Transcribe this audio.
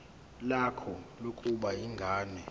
lakho lokubona ingane